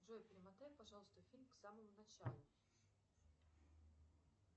джой перемотай пожалуйста фильм к самому началу